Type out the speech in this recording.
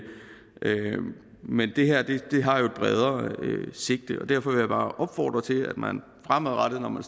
men det her har jo et bredere sigte derfor vil jeg bare opfordre til at man fremadrettet når man